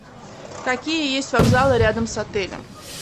какие есть вокзалы рядом с отелем